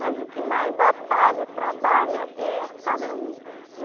Mas o que mais batalha, trabalha, é só meu.